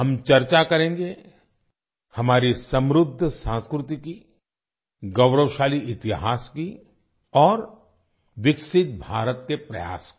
हम चर्चा करेंगे हमारी समृद्ध संस्कृति की गौरवशाली इतिहास की और विकसित भारत के प्रयास की